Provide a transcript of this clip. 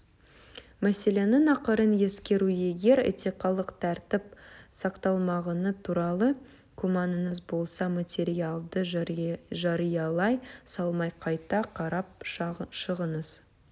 мәселенің ақырын ескеру егер этикалық тәртіп сақталмағаны туралы күмәніңіз болса материалды жариялай салмай қайта қарап шығыңыз